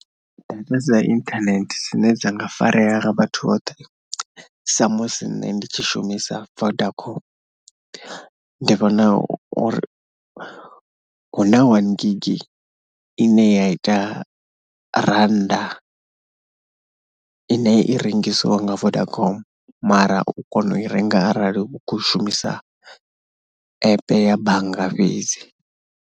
Data dza inthanethe dzine dza nga farea nga vhathu vhoṱhe samusi nṋe ndi tshi shumisa Vodacom, ndi vhona uri hu na wani gigi ine ya ita rannda ine i rengisiwa nga Vodacom mara u kona u i renga arali u khou shumisa app ya bannga fhedzi.